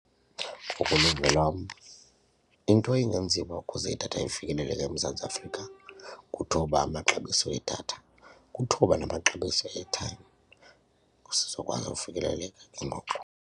Ngokoluvo lwam into engenziwa ukuze idatha ifikeleleke emMzantsi Afrika kuthoba amaxabiso edatha, kuthoba namaxabiso e-airtime zizokwazi ufikeleleka ke ngoku.